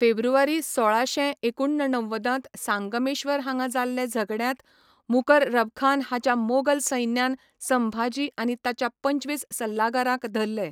फेब्रुवारी सोळाशे एकुणणव्वदांत सांगमेश्वर हांगा जाल्ले झगड्यांत मुकररबखान हाच्या मोगल सैन्यान संभाजी आनी ताच्या पंचवीस सल्लागारांक धरले.